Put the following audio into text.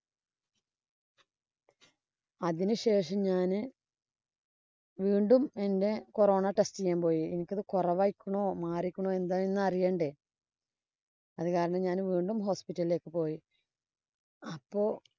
അതിനു ശേഷം ഞാന് വീണ്ടും എന്‍റെ corona test ഇന് ഞാന്‍ പോയി. എനിക്കത് കൊറവായിക്കണോ, മാറിയേക്കണോ അറിയേണ്ടേ? അത് കാരണം ഞാന്‍ വീണ്ടും hospital ഇലേക്ക് പോയി. അപ്പൊ